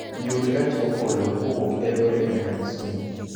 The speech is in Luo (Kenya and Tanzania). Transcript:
yud gach okolo kowuok e eldoret nyaka kisumu